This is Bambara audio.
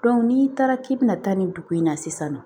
n'i taara k'i bɛna taa nin dugu in na sisan nɔ